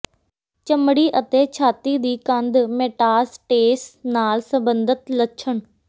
ਚਮੜੀ ਅਤੇ ਛਾਤੀ ਦੀ ਕੰਧ ਮੈਟਾਸਟੇਸ ਨਾਲ ਸਬੰਧਤ ਲੱਛਣ